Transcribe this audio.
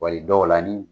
Wali dɔw la ni